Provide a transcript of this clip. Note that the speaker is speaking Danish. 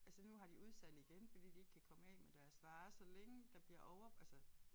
Altså nu har de udsalg igen fordi de ikke kan komme af med deres varer så længe der bliver over altså